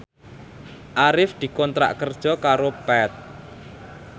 Arif dikontrak kerja karo Path